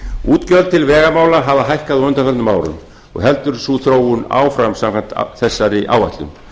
útgjöld til vegamála hafa hækkað á undanförnum árum og heldur sú þróun áfram samkvæmt þessari áætlun